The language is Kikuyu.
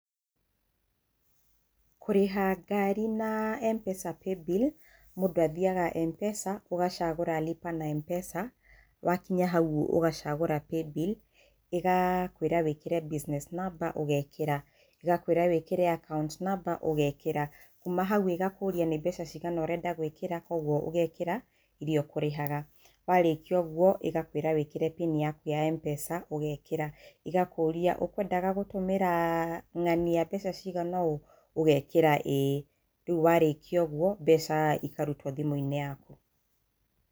Kũrĩha ngari na Mpesa Paybill mũndũ athiaga Mpesa ũgacagũra Lipa na Mpesawakinya hau ũgacagũra paybill ĩgakwĩra wĩkĩre business number ũgekĩra, ĩgakwĩra wĩkĩre Account Number ũgekĩra kuma ĩgakũria nĩ mbeca cigana ũrenda gwĩkĩra kwoguo ũgekĩra iria ũkũrĩhaga warĩkia ũguo ĩgakwĩra wĩkĩre Pin yaku ya Mpesa ũgekĩra, ĩgakũria ũkwendaga gũtũmĩra ng'ania mbeca cigana ũũ ũgekĩra ĩĩ, rĩu warĩkia ũguo mbeca ikarutwo thimũ-inĩ yaku.